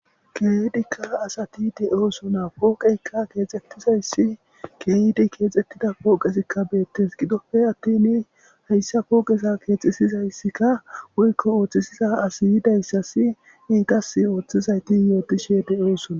Keethikka asati de7oosona pooqeykka keexxettizayssi keeydi keexettida pooqesikka beettes gidoppe attin hayssa pooqesa keexesizayssikka woykko ooththisiza asi yidayssasi ne qas ooththizayti yootishe de7osona.